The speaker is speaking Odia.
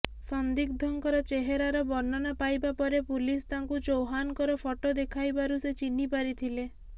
ସନ୍ଦିଗ୍ଧଙ୍କର ଚେହେରାର ବର୍ଣ୍ଣନା ପାଇବା ପରେ ପୁଲିସ ତାଙ୍କୁ ଚୌହାନଙ୍କର ଫଟୋ ଦେଖାଇବାରୁ ସେ ଚିହ୍ନି ପାରିଥିଲେ